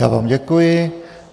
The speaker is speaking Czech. Já vám děkuji.